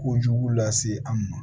Kojugu lase an ma